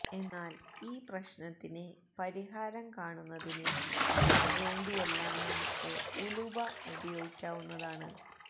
എന്നാല് ഈ പ്രശ്നത്തിന് പരിഹാരം കാണുന്നതിന് വേണ്ടിയെല്ലാം നമുക്ക് ഉലുവ ഉപയോഗിക്കാവുന്നതാണ്